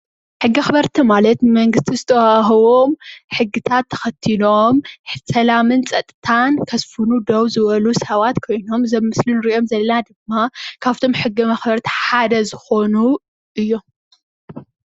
ሕጊ አኽበርቲ ማለት ብመንግስቲ ዝተዋህቦ ሕግታት ተኸቲሎም ስላምን ፀጥታን ከስፉኑ ደው ዝበሉ ሰባት ኮይኖም እዚ አብ ምስሊ ንሪኦ ዘለና ድማ ካብቶም ሕጊ መኽበርቲ ሓደ ዝኾኑ እዮም፡፡